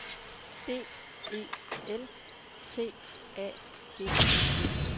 D E L T A G E